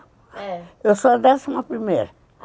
É. Eu sou a décima primeira.